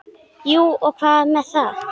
Jú og hvað með það!